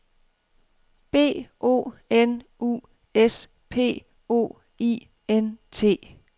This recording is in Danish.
B O N U S P O I N T